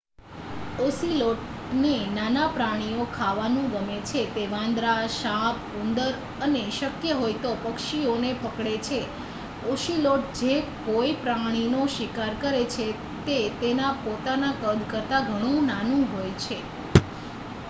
ઑસિલૉટને નાનાં પ્રાણીઓ ખાવાનું ગમે છે તે વાંદરાં સાપ ઉંદર અને શક્ય હોય તો પક્ષીઓને પકડે છે ઑસિલૉટ જે કોઈ પ્રાણીનો શિકાર કરે છે તે તેના પોતાના કદ કરતાં ઘણું નાનું હોય છે